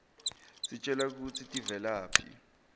sitjelwa kutsi tivelaphi